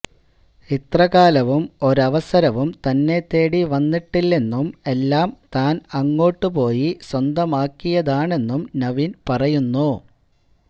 ഇത്രകാലവും ഒരവസരവും തന്നെത്തേടി വന്നിട്ടില്ലെന്നും എല്ലാം താന് അങ്ങോട്ടു പോയി സ്വന്തമാക്കിയതാണെന്നും നവീന് പറയുന്നു